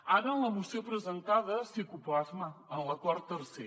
ara en la moció presentada sí que ho plasma en l’acord tercer